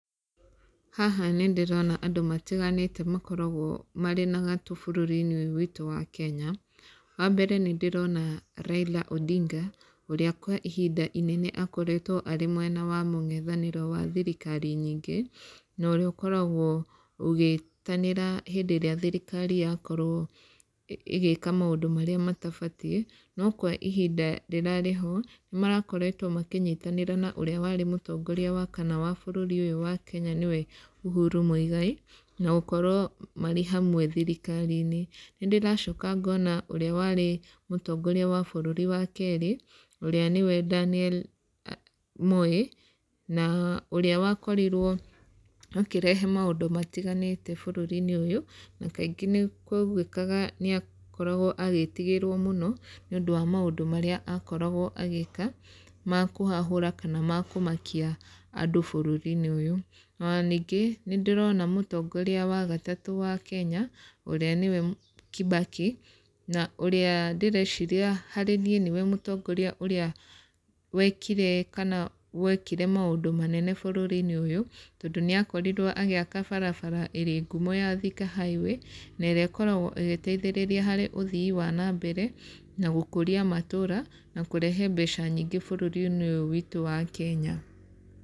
Haha nĩ ndĩrona andũ matiganĩte makoragwo marĩ na gatũ bũrũri-inĩ ũyũ witũ wa Kenya. Wa mbere nĩ ndĩrona Raila Odinga, ũrĩa kwa ihinda inene akoretwo arĩ mwena wa mũng'ethanĩro wa thirikari nyingĩ, na ũrĩa ũkoragwo ũgĩtanĩra hĩndĩ ĩrĩa thirikari yakorwo ĩgĩĩka maũndũ marĩa matabatiĩ. No kwa ihinda rĩrarĩ ho, nĩ marakoretwo makĩnyitanĩra na ũrĩa warĩ mũtongoria wa kana wa bũrũri ũyũ wa Kenya nĩwe Uhuru Muigai, na gũkorwo marĩ hamwe thirikari-inĩ. Nĩ ndĩracoka ngona ũrĩa warĩ mũtongoria wa bũrũri wa keerĩ, ũrĩa nĩwe Daniel Moi, na ũrĩa wakorirwo akĩrehe maũndũ matiganĩte bũrũri-inĩ ũyũ, na kaingĩ nĩ kũaiguĩkaga nĩ akoragwo agĩtigĩrwo mũno, nĩ ũndũ wa maũndũ marĩa akoragwo agĩka, ma kũhahũra kana ma kũmakia andũ bũrũri-inĩ ũyũ. Ona ningĩ, nĩ ndĩrona mũtongoria wa gatatũ wa Kenya, ũrĩa nĩwe Kibaki, na ũrĩa ndĩreciria harĩ niĩ nĩwe mũtongoria ũrĩa wekire kana wekire maũndũ manene bũrũri-inĩ ũyũ, tondũ nĩ akorirwo agĩaka barabara ĩrĩ ngumo ya Thika Highway, na ĩrĩa ĩkoragwo ĩgĩteithĩrĩria harĩ ũthii wa na mbere, na gũkũria matũũra, na kũrehe mbeca nyingĩ bũrũri-inĩ ũyũ witũ wa Kenya.